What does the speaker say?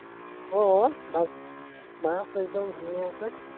আহ মাছ একদম ধুনীয়াকৈ